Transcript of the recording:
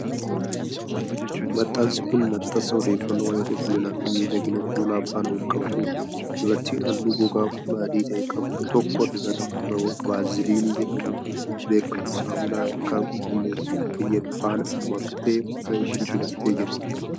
Maxxansi kun, maxxansa odeeffannoo waa'ee qulqullina fi miidhagina fuulaa faana wal qabatuu dha. Dubartiin haalluu gogaa fuulaa adii ta'e qabdu tokko, dibata fuulaa vaaziliinii jedhamuun beekamu saamunaa ilkaan qulqulleessuuf fayyadu faana maktee fuula ishee dibattee jirti.